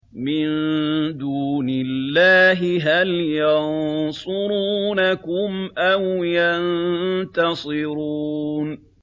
مِن دُونِ اللَّهِ هَلْ يَنصُرُونَكُمْ أَوْ يَنتَصِرُونَ